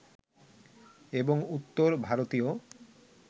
এবং উত্তর ভারতীয়